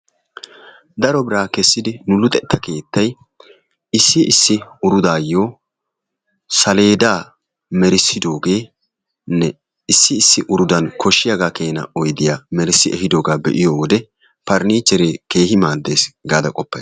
Daro biraa kessidi nu luxetta keettay issi issi urudaayyoo saleedaa merissidoogenne issi issi urudan koshshiyaaga keena oydiyaa merissi ehidooga be'iyo wode paranichchere keehi maaddees gaada qoppayis.